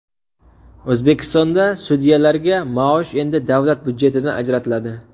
O‘zbekistonda sudyalarga maosh endi davlat budjetidan ajratiladi.